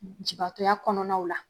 Jibaatɔya kɔnɔna la.